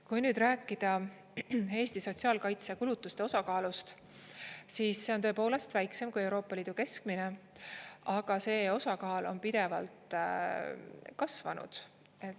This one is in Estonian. Kui nüüd rääkida Eesti sotsiaalkaitsekulutuste osakaalust, siis see on tõepoolest väiksem kui Euroopa Liidu keskmine, aga see osakaal on pidevalt kasvanud.